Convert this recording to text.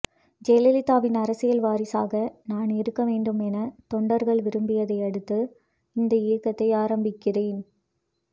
ஜெயலலிதாவின் அரசியல் வாரிசாக நான் இருக்க வேண்டும் என தொண்டர்கள் விரும்பியதை அடுத்து இந்த இயக்கத்தை ஆரம்பிக்கிறேன்